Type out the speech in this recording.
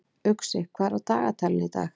Uxi, hvað er á dagatalinu í dag?